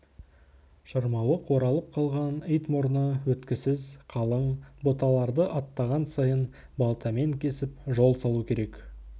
шырмауық оралып қалған ит мұрны өткісіз қалың бұталарды аттаған сайын балтамен кесіп жол салу керек